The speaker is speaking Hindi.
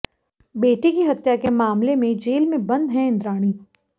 बेटी की हत्या के मामले में जेल में बंद हैं इद्राणी